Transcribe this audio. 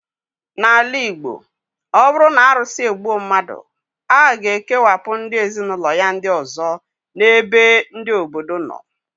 N'ala Igbo, ọ bụrụ na arụsị egbuo mmadụ, a ga-ekewapụ ndị ezinụlọ ya ndị ọzọ n' ebe ndị obodo nọ